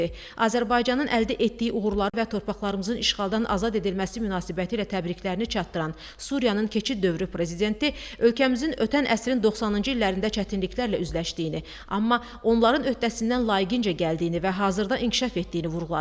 Azərbaycanın əldə etdiyi uğurlarını və torpaqlarımızın işğaldan azad edilməsi münasibətilə təbriklərini çatdıran Suriyanın keçid dövrü prezidenti ölkəmizin ötən əsrin 90-cı illərində çətinliklərlə üzləşdiyini, amma onların öhdəsindən layiqincə gəldiyini və hazırda inkişaf etdiyini vurğuladı.